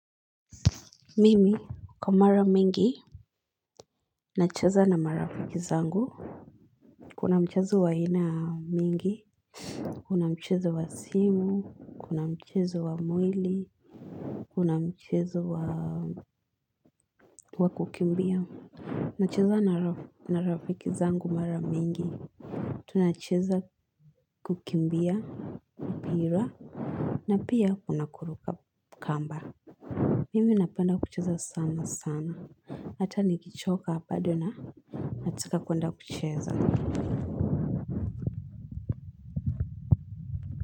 Mimi kwa mara mingi na cheza na marafiki zangu kuna mchezo wa aina mingi Kuna mcheza wa simu, kuna mcheza wa mwili Kuna mchezo wa kukimbia na cheza na na rafiki zangu mara mingi Tunacheza kukimbia pira na pia kuna kuruka kamba Mimi napenda kucheza sana sana Hata nikichoka bado na nataka kwenda kucheza.